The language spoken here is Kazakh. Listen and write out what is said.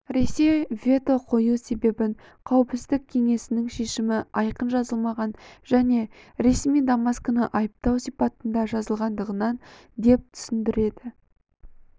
ресей вето қою себебін қауіпсіздік кеңесінің шешімі айқын жазылмаған және ресми дамаскіні айыптау сипатында жазылғандығынан дептүсіндіреді